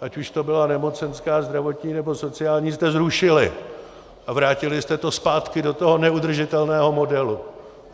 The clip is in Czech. ať už to byla nemocenská, zdravotní nebo sociální, jste zrušili a vrátili jste to zpátky do toho neudržitelného modelu.